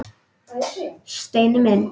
Steini minn!